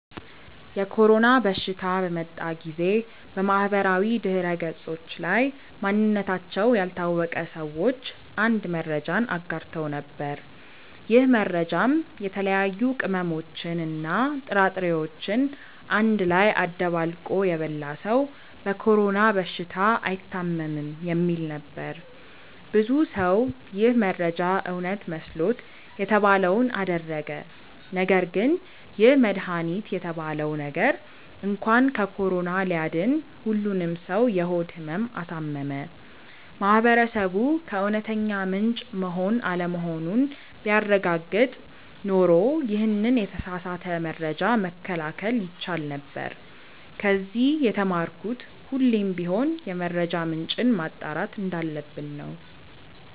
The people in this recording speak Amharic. የኮሮና በሽታ በመጣ ጊዜ በማህበራዊ ድህረገጾች ላይ ማንነታቸው ያልታወቀ ሰዎች አንድ መረጃን አጋርተው ነበር። ይህ መረጃም የተለያዩ ቅመሞችን እና ጥራጥሬዎችን አንድ ላይ አደባልቆ የበላ ሰው በኮሮና በሽታ አይታምም የሚል ነበር። ብዙ ሰው ይህ መረጃ እውነት መስሎት የተባለውን አደረገ ነገርግን ይህ መድሃኒት የተባለው ነገር እንኳን ከኮሮና ሊያድን ሁሉንም ሰው የሆድ ህመም አሳመመ። ማህበረሰቡ ከእውነተኛ ምንጭ መሆን አለመሆኑን ቢያረጋግጥ ኖሮ ይሄንን የተሳሳተ መረጃ መከላከል ይቻል ነበር። ከዚ የተማርኩት ሁሌም ቢሆን የመረጃ ምንጭን ማጣራት እንዳለብን ነው።